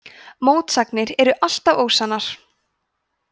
mótsagnir eru alltaf ósannar